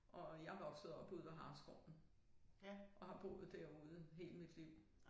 Og jeg vokset op ude ved Hareskoven og har boet derude hele mit liv